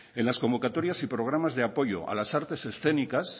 en las convocatorias y programas de apoyo a las artes escénicas